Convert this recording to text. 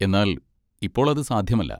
എന്നാൽ ഇപ്പോൾ അത് സാധ്യമല്ല.